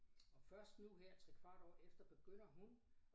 Og først nu her trekvart år efter begynder hun